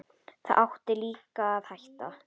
Þá áttu líka að hætta.